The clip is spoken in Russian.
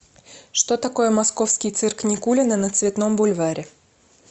что такое московский цирк никулина на цветном бульваре